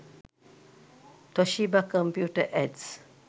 toshiba computer ads